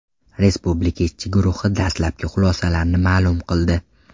Respublika ishchi guruhi dastlabki xulosalarini ma’lum qildi.